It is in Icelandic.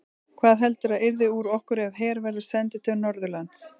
Hvað heldurðu að yrði úr okkur ef her verður sendur til Norðurlands?